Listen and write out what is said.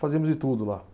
Fazíamos de tudo lá.